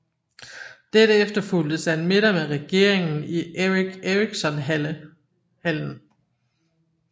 Dette efterfulgtes af en middag med regeringen i Eric Ericsonhallen